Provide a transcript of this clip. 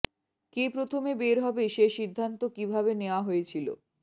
কে প্রথমে বের হবে সে সিদ্ধান্ত কিভাবে নেয়া হয়েছিল